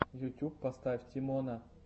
ютьюб поставь тимона